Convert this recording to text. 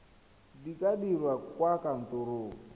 di ka dirwa kwa kantorong